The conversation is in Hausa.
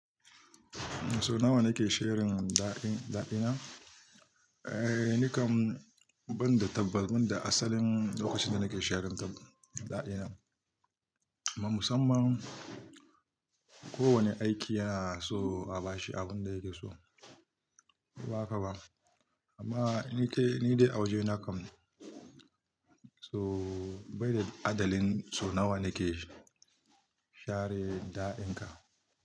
So nawa nake shirin da'dina? Eh, ni kam ban da tabas, ban da asalin lokacin da nake shirin da'ina. Amma musamman kowane aiki yana so a bashi abin da yake so. Ba haka ba, amma ni kai, ni dai a waje na kam. So bai da adalin so nawa nake share da'inka.